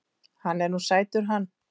Hann er nú sætur hann